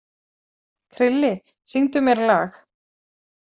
Krilli, syngdu mér lag.